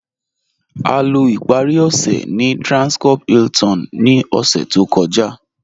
A lọ́ ìparí ọṣẹ̀ ní Transcorp Hilton ní ọ̀ṣẹ̀ tó kọ̀já.